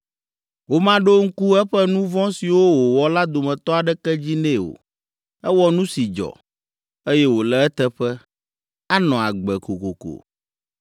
Womaɖo ŋku eƒe nu vɔ̃ siwo wòwɔ la dometɔ aɖeke dzi nɛ o. Ewɔ nu si dzɔ, eye wòle eteƒe; anɔ agbe kokoko.